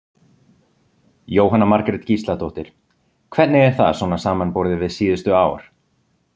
Jóhanna Margrét Gísladóttir: Hvernig er það svona samanborið við síðustu ár?